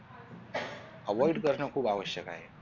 avoid करणं खूप आवश्‍यक आहे.